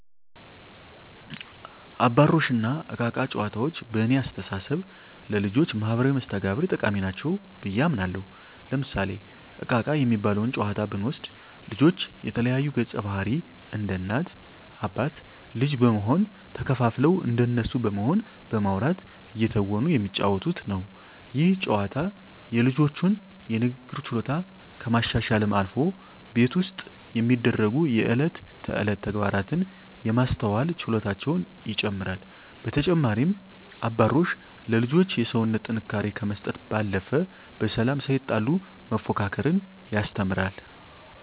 አባሮሽ እና እቃ እቃ ጨዋታዎች በእኔ አስተሳሰብ ለልጆች ማህበራዊ መስተጋብር ጠቃሚ ናቸው ብየ አምናለሁ። ለምሳሌ እቃ እቃ የሚባለውን ጨዋታ ብንወስድ ልጆች የተለያዩ ገፀባህርይ እንደ እናት አባት ልጅ በመሆን ተከፋፍለው እንደነሱ በመሆን በማዉራት እየተወኑ የሚጫወቱት ነው። ይህ ጨዋታ የልጆቹን የንግግር ችሎታ ከማሻሻልም አልፎ ቤት ውስጥ የሚደሰጉ የእለት ተእለት ተግባራትን የማስተዋል ችሎታቸውን ይጨመራል። በተጨማሪም አባሮሽ ለልጆች የሰውነት ጥንካሬ ከመስጠት ባለፈ በሰላም ሳይጣሉ መፎካከርን ያስተምራል።